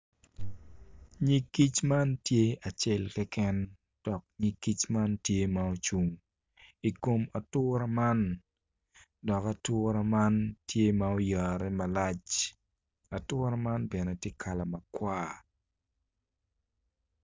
Nyig kic man tye acel keken dok nyig kic man tye ma ocung i kom atura man dok atura man tye ma oyare malac atura man bene tye kala makwar.